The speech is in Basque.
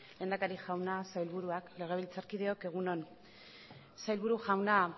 lehendakari jauna sailburua legebiltzarkideok egun on sailburu jauna